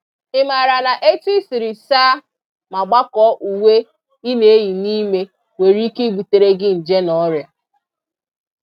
Ị maara na etụ i siri saa ma gbakọọ uwe ị na-eyi n'ime nwereike ibutere gị nje na ọrịa?